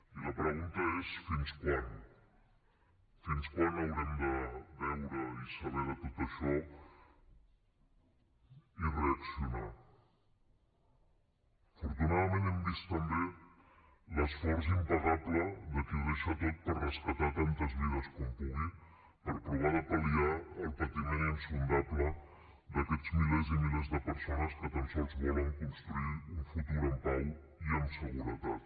i la pregunta és fins quan fins quan haurem de veure i saber de tot això i reaccionar afortunadament hem vist també l’esforç impagable de qui ho deixa tot per rescatar tantes vides com pugui per provar de pal·liar el patiment insondable d’aquests milers i milers de persones que tan sols volen construir un futur en pau i amb seguretat